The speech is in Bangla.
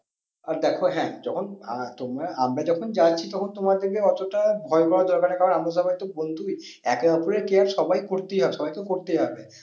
আর দেখো হ্যাঁ যখন আহ তোমার, আমরা যখন যাচ্ছি তখন তোমাদেরকে অতটা ভয় পাওয়ার দরকা নেই কারণ আমরা সবাই তো বন্ধুই একে ওপরের care সবাই করতেই হয় সবাইকে করতেই হবে।